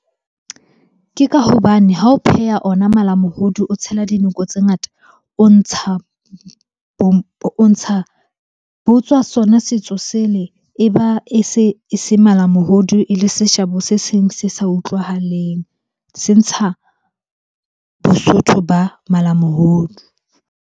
Ke ka hobane ha o pheha ona malamohodu, o tshela dinoko tse ngata. O ntsha, ho tswa sona setso sele. Eba e se, e se malamohodu e le seshabo se seng se sa utlwahaleng. Se ntsha bosotho ba malamohodu.